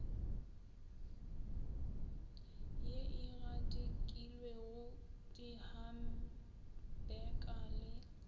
ye e gadikilwego dihampeka le